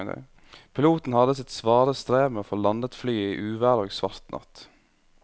Piloten hadde sitt svare strev med å få landet flyet i uvær og svart natt.